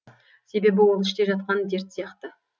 себебі ол іште жатқан дерт сияқты